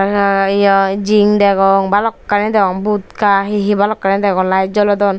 raga ye jin degongz balokani degong butka he he balokkani degong layet jolodon.